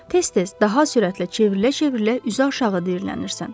Tez-tez, daha sürətlə çevrilə-çevrilə üzü aşağı diyirlənirsən.